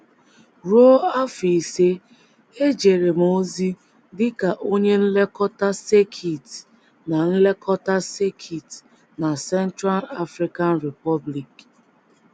Ruo afọ ise, ejere m ozi dị ka onye nlekọta sekit na nlekọta sekit na Central African Republic.